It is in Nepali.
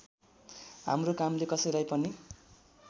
हाम्रो कामले कसैलाई पनि